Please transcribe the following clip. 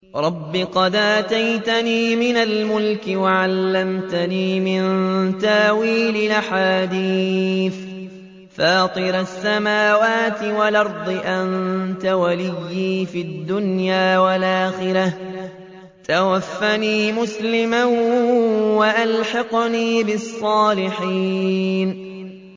۞ رَبِّ قَدْ آتَيْتَنِي مِنَ الْمُلْكِ وَعَلَّمْتَنِي مِن تَأْوِيلِ الْأَحَادِيثِ ۚ فَاطِرَ السَّمَاوَاتِ وَالْأَرْضِ أَنتَ وَلِيِّي فِي الدُّنْيَا وَالْآخِرَةِ ۖ تَوَفَّنِي مُسْلِمًا وَأَلْحِقْنِي بِالصَّالِحِينَ